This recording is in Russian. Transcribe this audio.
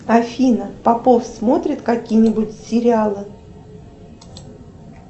афина попов смотрит какие нибудь сериалы